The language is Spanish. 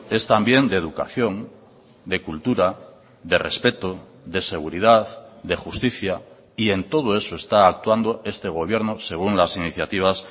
es también de educación de cultura de respeto de seguridad de justicia y en todo eso está actuando este gobierno según las iniciativas